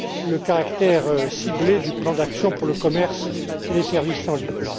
le caractère ciblé du plan d'action pour le commerce et les services en ligne.